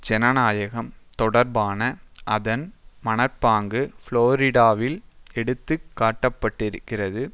ஜனநாயகம் தொடர்பான அதன் மனப்பாங்கு புளோரிடாவில் எடுத்து காட்டப்பட்டிருக்கிறது